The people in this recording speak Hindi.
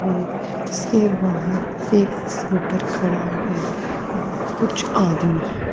है जिसके बाहर एक स्कूटर खड़ा है और कुछ आदमी--